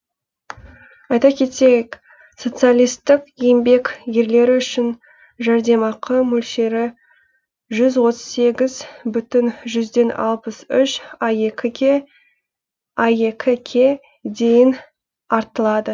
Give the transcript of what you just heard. айта кетейік социалистік еңбек ерлері үшін жәрдемақы мөлшері жүз отыз сегіз бүтін жүзден алпыс жеті аек ке дейін артылады